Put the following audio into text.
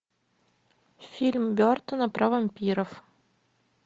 фильм бертона про вампиров